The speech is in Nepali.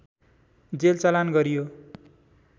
जेल चलान गरियो